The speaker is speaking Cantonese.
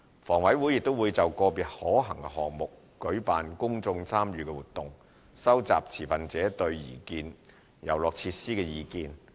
房委會亦會就個別可行項目舉辦公眾參與活動，收集持份者對擬建遊樂設施的意見。